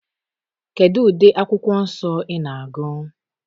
Kedu ụdị akwụkwọ nsọ ị na-agụ?